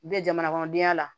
jamana kɔnɔdenya la